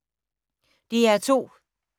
DR2